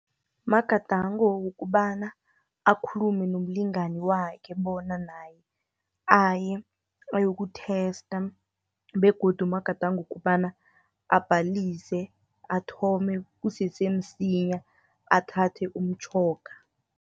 Magadango wokobana akhulume nomlingani wakhe, bona naye aye ayokutesta, begodu magadango wokobana abhalise, athome kusese msinya, athathe umtjhoga.